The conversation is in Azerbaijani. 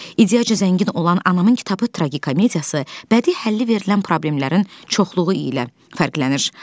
İdeyaca zəngin olan Anamın kitabı tragikomediyası bədii həlli verilən problemlərin çoxluğu ilə fərqlənir.